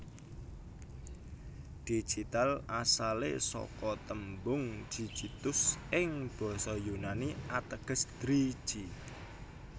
Digital asalé saka tembung Digitus ing basa Yunani ateges driji